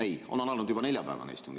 Ei, on alanud juba neljapäevane istung.